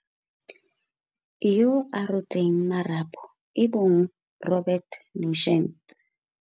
Yo a rotseng marapo e bong Robert Nugent.